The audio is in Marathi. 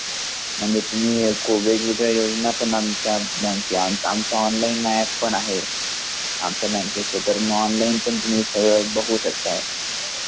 म्हणजे कोविड वैगेरे योजना पण येईल तर आमच आँनलाईन अँप पण आहे आमच्या आँनलाईन बघू शकता.